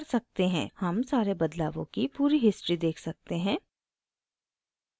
हम सारे बदलावों की पूरी history देख सकते हैं